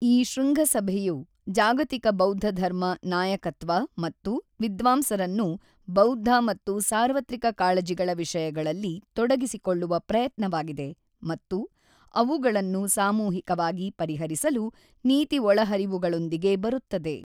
ಈ ಶೃಂಗಸಭೆಯು ಜಾಗತಿಕ ಬೌದ್ಧ ಧರ್ಮ ನಾಯಕತ್ವ ಮತ್ತು ವಿದ್ವಾಂಸರನ್ನು ಬೌದ್ಧ ಮತ್ತು ಸಾರ್ವತ್ರಿಕ ಕಾಳಜಿಗಳ ವಿಷಯಗಳಲ್ಲಿ ತೊಡಗಿಸಿಕೊಳ್ಳುವ ಪ್ರಯತ್ನವಾಗಿದೆ ಮತ್ತು ಅವುಗಳನ್ನು ಸಾಮೂಹಿಕವಾಗಿ ಪರಿಹರಿಸಲು ನೀತಿ ಒಳಹರಿವುಗಳೊಂದಿಗೆ ಬರುತ್ತದೆ.